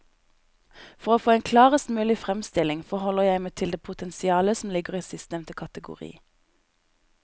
For å få en klarest mulig fremstilling forholder jeg meg til det potensialet som ligger i sistnevnte kategori.